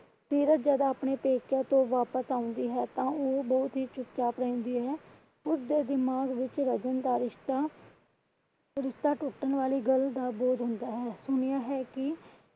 ਸੀਰਤ ਜੱਦ ਆਪਣੇ ਪੇਕਿਆਂ ਤੋਂ ਵਾਪਿਸ ਆਉਂਦੀ ਹੈ ਤਾਂ ਉਹ ਬਹੁਤ ਹੀ ਚੁਪਚਾਪ ਰਹਿੰਦੀ ਹੈ। ਉਸਦੇ ਦਿਮਾਗ ਵਿੱਚ ਰਜਨ ਦਾ ਰਿਸ਼ਤਾ ਰਿਸ਼ਤਾ ਟੁੱਟਣ ਵਾਲੀ ਗੱਲ ਦਾ ਬੋਝ ਹੁੰਦਾ ਹੈ। ਸੁਣਿਆ ਹੈ ਕਿ,